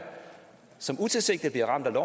som utilsigtet bliver ramt